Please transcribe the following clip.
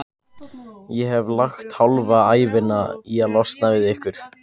Ég hef lagt hálfa ævina í að losna við ykkur.